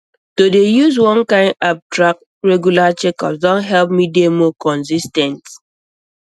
to dey use one kind app track regular checkups don help me dey more consis ten t